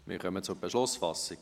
Wir kommen zur Beschlussfassung.